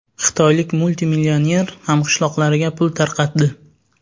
Xitoylik multimillioner hamqishloqlariga pul tarqatdi .